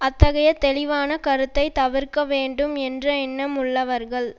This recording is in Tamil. அத்தகைய தெளிவான கருத்தை தவிர்க்க வேண்டும் என்ற எண்ணம் உள்ளவர்கள்